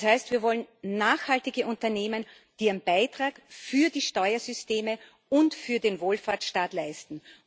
Das heißt Wir wollen nachhaltige Unternehmen, die ihren Beitrag für die Steuersysteme und für den Wohlfahrtsstaat leisten.